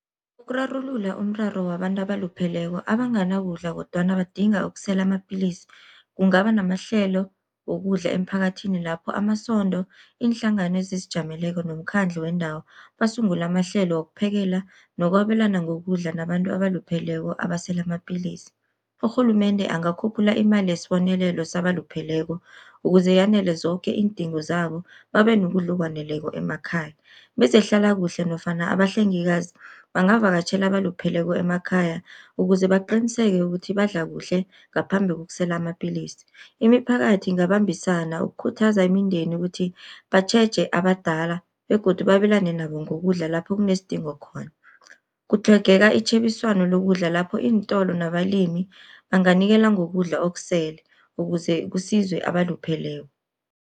Ukurarulula umraro wabantu abalupheleko abanganakudla kodwana badinga ukusela amapilisi. Kungaba namahlelo wokudla emphakathini lapho amasondo, iinhlangano ezizijameleko nomkhandlu wendawo basungula amahlelo wokuphekela nokwabelana ngokudla nabantu abalupheleko abasela amapillisi. Urhulumende angakhuphula imali yesibonelelo sabalupheleko, ukuze yanele zoke iindingo zabo babe nokudla okwaneleko emakhaya. Bezehlalakuhle nofana abahlengikazi bangavakatjhela abalupheleko emakhaya, ukuze baqiniseke ukuthi badla kuhle ngaphambi kokusela amapilisi. Imiphakathi ingabambisana ukukhuthaza imindeni ukuthi batjheje abadala begodu babelane nabo ngokudla lapho kunesidingo khona. Kutlhogeka itjhebiswano lokudla lapho iintolo nabalimi banganikela ngokudla okusele ukuze kusizwe abalupheleko.